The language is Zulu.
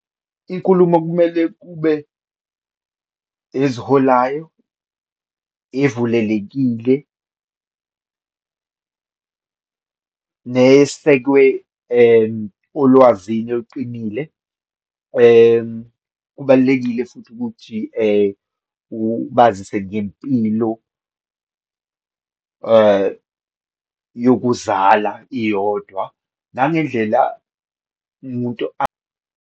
Inkulumo okumele kube eziholayo, evulelekile, nesekwe olwazini oluqinile. Kubalulekile futhi ukuthi ubazise ngempilo yokuzala iyodwa, nangendlela umuntu .